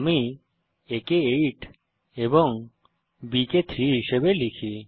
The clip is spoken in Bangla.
আমি a কে 8 এবং b কে 3 হিসাবে লিখি